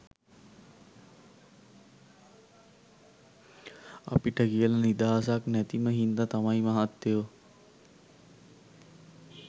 අපිට කියල නිදහසක් නැතිම හින්ද තමයි මහත්තයෝ